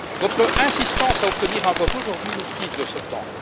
Votre insistance à obtenir un vote aujourd'hui nous prive de ce temps.